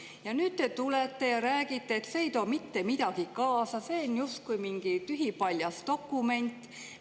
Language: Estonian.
Ja nüüd te tulete ja räägite, et see ei too mitte midagi kaasa, see on justkui mingi tühipaljas dokument.